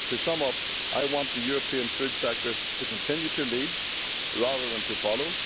To sum up, I want the European food sector to continue to lead rather than follow.